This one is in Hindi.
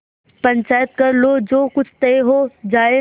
पंचायत कर लो जो कुछ तय हो जाय